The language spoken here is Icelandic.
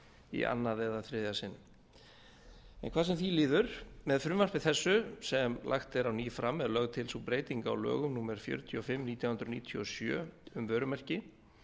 í annað eða þriðja sinn hvað sem því líður með frumvarpi þessu sem lagt er á ný fram er lögð til sú breyting á lögum númer fjörutíu og sex nítján hundruð níutíu og sjö um vörumerki